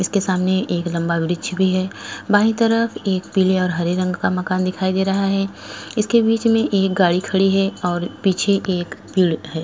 इसके सामने एक लम्बा वृक्ष हैं बाइ तरफ एक पीले और हरे रंग का मकान दिखाई दे रहा हैं इसके बीच में एक गाडी खड़ी हैं और पीछे एक पेड़ हैं।